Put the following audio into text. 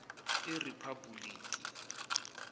eriphabhulikhi